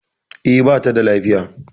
E, bata da lafiya